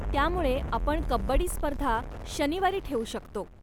त्यामुळे, आपण कब्बडी स्पर्धा शनिवारी ठेऊ शकतो.